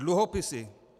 Dluhopisy.